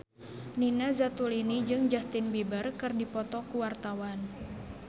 Nina Zatulini jeung Justin Beiber keur dipoto ku wartawan